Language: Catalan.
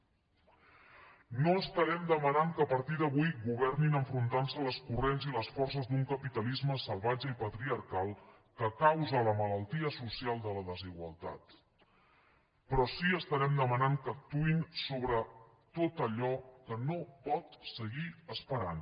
no estarem demanant que a partir d’avui governin enfrontant se amb els corrents i les forces d’un capitalisme salvatge i patriarcal que causa la malaltia social de la desigualtat però sí que estarem demanant que actuïn sobre tot allò que no pot seguir esperant